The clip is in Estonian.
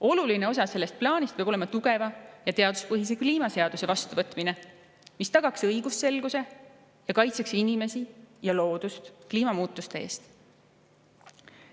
Oluline osa sellest plaanist peab olema tugeva ja teaduspõhise kliimaseaduse vastuvõtmine, mis tagaks õigusselguse ning kaitseks inimesi ja loodust kliimamuutuste eest.